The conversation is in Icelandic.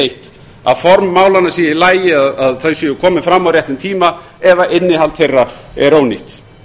eitt að formaður málanna sé í lagi að þau séu komin fram á réttum tíma ef innihald þeirra er ónýtt